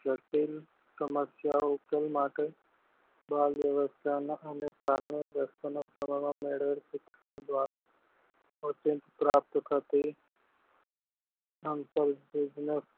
સમસ્યાનો ઉકેલ માટે